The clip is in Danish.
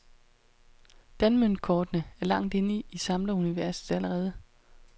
Danmøntkortene er langt inde i samleruniverset allerede.